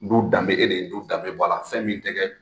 Lu danbe e de ye, lu danbe bɔ a la fɛn min tɛ kɛ